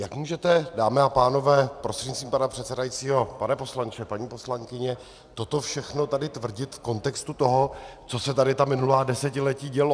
Jak můžete, dámy a pánové, prostřednictvím pana předsedajícího, pane poslanče, paní poslankyně, toto všechno tady tvrdit v kontextu toho, co se tady ta minulá desetiletí dělo?